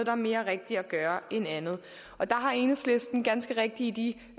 er mere rigtigt at gøre end andet og der har enhedslisten ganske rigtigt i